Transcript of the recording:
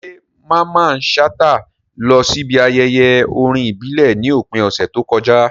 Ṣé Mamman Shata lọ síbi ayẹyẹ orin ìbílẹ̀ ní òpin ọ̀sẹ̀ tó kọjá?